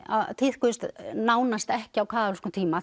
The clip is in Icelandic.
tíðkuðust nánast ekki á kaþólskum tíma